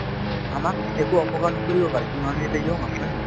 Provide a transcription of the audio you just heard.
আমাক একো অপকাৰ নকৰিব পাৰে কিয়নো আমি এতিয়া young আছো হয় নে নহয়